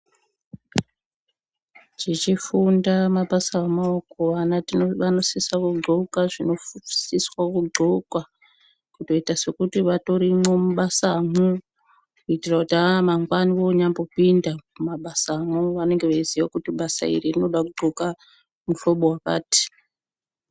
Tichifunda mabasa emaoko ana tino anosisa kudxoka zvinosiswa kudxokwa kuita sekuti vatorimwo mubasamwo kuitira kuti aamangwani onyambopinda mumabasamwo vanenge veiziya kuti basa iri rinoda kudxoka muhlobo wakati..